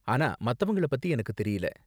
ஆனா மத்தவங்கள பத்தி எனக்கு தெரியல.